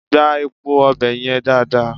Gbá epo ọbẹ̀ yẹn dáadáa!